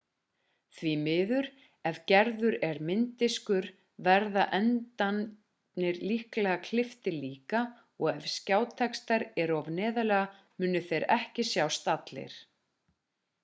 því miður ef gerður er mynddiskur verða endarnir líklega klipptir líka og ef skjátextar eru of neðarlega munu þeir ekki sjást allir